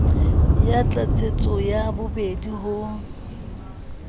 ya tlatsetso ya bobedi ho